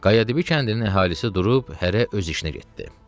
Qayadibi kəndinin əhalisi durub hərə öz işinə getdi.